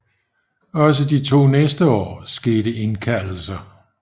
Også de to næste år skete indkaldelser